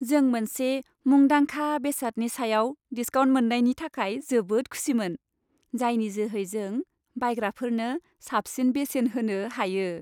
जों मोनसे मुंदांखा बेसादनि सायाव डिसकाउन्ट मोन्नायनि थाखाय जोबोद खुसिमोन, जायनि जोहै जों बायग्राफोरनो साबसिन बेसेन होनो हायो।